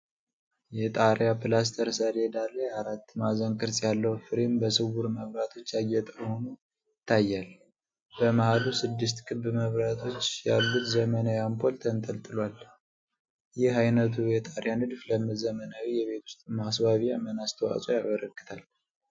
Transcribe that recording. የጣሪያ ፕላስተር ሰሌዳ ላይ አራት ማዕዘን ቅርጽ ያለው ፍሬም በስውር መብራቶች ያጌጠ ሆኖ ይታያል። በመሃሉ ስድስት ክብ መብራቶች ያሉት ዘመናዊ አምፖል ተንጠልጥሏል። ይህ ዓይነቱ የጣሪያ ንድፍ ለዘመናዊ የቤት ውስጥ ማስዋቢያ ምን አስተዋጽኦ ያበረክታል?